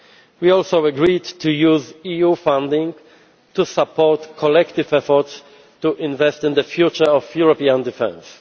We also agreed to use EU funding to support collective efforts to invest in the future of European defence.